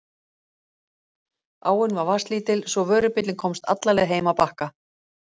Áin var vatnslítil svo vörubíllinn komst alla leið heim að Bakka.